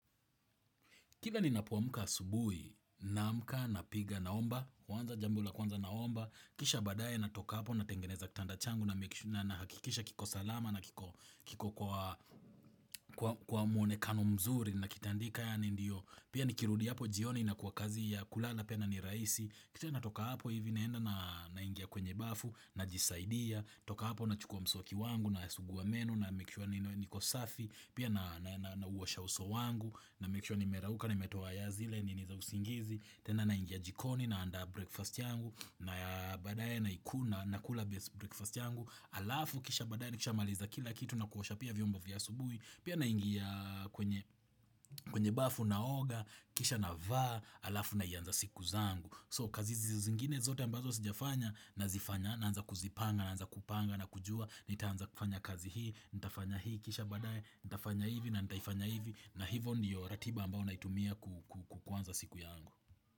Kila ninapo amka asubuhi naamka napiga naomba, kwanza jambo la kwanza naomba, kisha baadaye natoka hapo natengeneza kitanda changu nahakikisha kiko salama na kiko kwa mwonekano mzuri nakitandika yaani ndio. Pia nikirudi hapo jioni inakuwa kazi ya kulala pia ni rahisi Kisha natoka hapo hivi naenda naingia kwenye bafu najisaidia Toka hapo nachukua mswaki wangu nasugua meno namake sure ni niko safi Pia na nauosha uso wangu namake sure nimerauka nimetuoa zile nini za usingizi tena naingia jikoni naandaa breakfast yangu na baadaye naikula nakula breakfast yangu Alafu kisha baadaye nikishamaliza kila kitu na kuosha pia vyombo vya asubuhi Pia naingia kwenye bafu naoga, kisha navaa, alafu naianza siku zangu So kazi zingine zote ambazo sijafanya nazifanya naanza kuzipanga naanza kupanga na kujua Nitaanza kufanya kazi hii, nitafanya hii, kisha baadaye, nitafanya hivi na nitaifanya hivi na hivyo ndiyo ratiba ambao naitumia kuanza siku yangu.